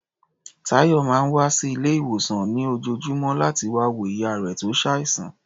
Táyọ̀ máa ń wá sí ilé-ìwòsàn ní lójoojúmọ́ láti wá wo ìyá rẹ̀ tó ṣàìsàn.